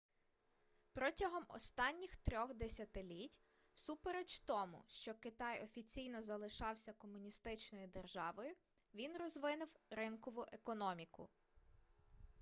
протягом останніх 3-х десятиліть всупереч тому що китай офіційно залишався комуністичною державою він розвинув ринкову економіку